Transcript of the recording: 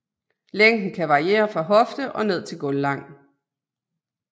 Længden kan variere fra hofte og ned til gulvlang